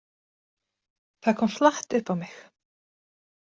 Það kom flatt upp á mig.